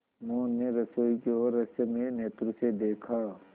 मोहन ने रसोई की ओर रहस्यमय नेत्रों से देखा